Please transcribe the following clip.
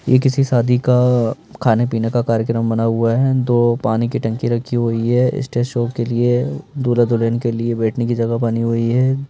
ये किसी शादी का खाने पीने का कार्यक्रम बना हुआ है दो पानी की टंकी रखी हुई है स्टेज शॉप के लिए दूला दुल्हन के लिए बैठने की जगह बनी हुई है।